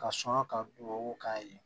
Ka suma ka duu k'a ye